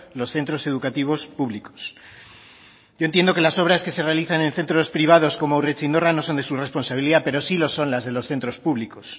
los centros educativos públicos yo entiendo que las obras que se realizan en centros privados como urretxindorra no son de su responsabilidad pero sí lo son las de los centros públicos